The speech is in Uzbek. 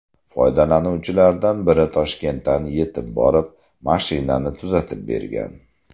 Foydalanuvchilardan biri Toshkentdan yetib borib, mashinani tuzatib bergan .